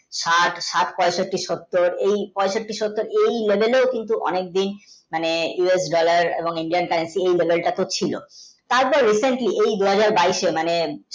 স্যাট স্যাট পঁয়ষট্টি সত্তর তো এই কিন্তু অনেক দিন মানে us গুলার এবং Indian country এই nolal টা খুব ছিল তার পর risen কি দুহাজার বাইশে মানে